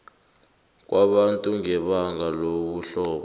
kwabantu ngebanga lobuhlobo